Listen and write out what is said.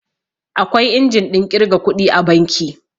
Akwai injin ɗin ƙirga kuɗi a banki